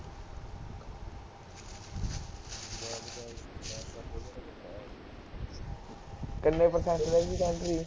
ਕਿੰਨ percent ਰਹਿ ਗਈ ਬੈਟਰੀ